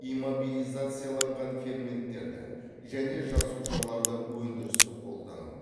иммобилизацияланған ферменттерді және жасушаларды өндірістік қолдану